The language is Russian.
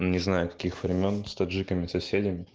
не знаю каких времён с таджиками соседями